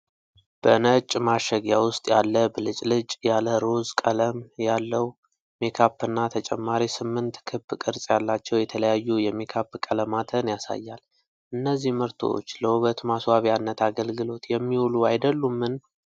በነጭ ማሸጊያ ውስጥ ያለ ብልጭልጭ ያለ ሮዝ ቀለም ያለው ሜካፕ እና ተጨማሪ ስምንት ክብ ቅርጽ ያላቸው የተለያዩ የሜካፕ ቀለማትን ያሳያል፤ እነዚህ ምርቶች ለውበት ማስዋቢያነት አገልግሎት የሚውሉ አይደሉምን?